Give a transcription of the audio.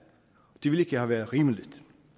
det ville ikke have været rimeligt